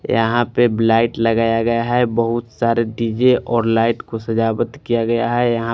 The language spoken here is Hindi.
यहा पे लाइट लगाया गया है बहुत सारे डी_जे और लाइट को सजाबत किया गया है यहा--